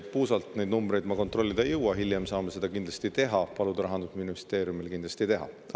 Puusalt ma neid numbreid kontrollida ei jõua, hiljem saame kindlasti paluda Rahandusministeeriumil seda teha.